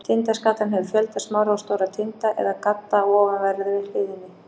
Tindaskatan hefur fjölda smárra og stórra tinda eða gadda á ofanverðri hliðinni.